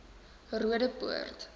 roodeport